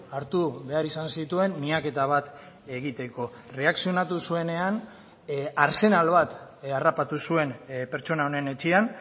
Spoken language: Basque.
hartu behar izan zituen miaketa bat egiteko erreakzionatu zuenean arsenal bat harrapatu zuen pertsona honen etxean